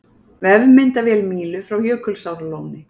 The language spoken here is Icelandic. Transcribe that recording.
Vefmyndavél Mílu frá Jökulsárlóni